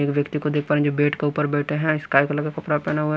एक व्यक्ति को देख पा रहे हैं जो बेट के ऊपर बैठे हैं स्काई कलर का कपड़ा पहना हुआ है।